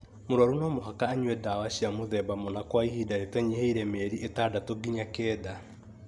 Mũrũaru no mũhaka anyue ndawa cia mũthemba mũna kwa ihinda rĩtanyihĩire mĩeri ĩtandatũ nginya kenda,